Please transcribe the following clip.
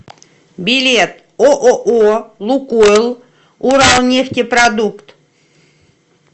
билет ооо лукойл уралнефтепродукт